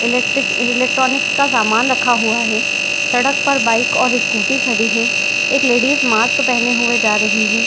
Electric electronic का समान रखा हुआ है। सडक पर बाइक और स्कुटी खड़ी है। एक लेडीज मास्क पहने हुए जा रही है।